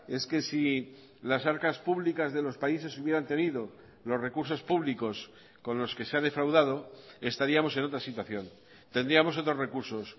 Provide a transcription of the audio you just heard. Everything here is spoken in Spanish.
es que si las arcas públicas de los países hubieran tenido los recursos públicos con los que se ha defraudado estaríamos en otra situación tendríamos otros recursos